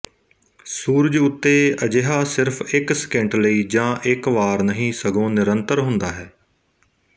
ਸੂਰਜ ਉੱਤੇ ਅਜਿਹਾ ਸਿਰਫ ਇੱਕ ਸਕਿੰਟ ਲਈ ਜਾਂ ਇੱਕ ਵਾਰ ਨਹੀਂ ਸਗੋਂ ਨਿਰੰਤਰ ਹੁੰਦਾ ਹੈ